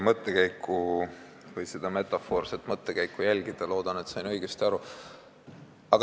Püüdsin seda teie metafoorset mõttekäiku jälgida ja loodan, et sain õigesti aru.